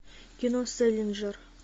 кино сэлинджер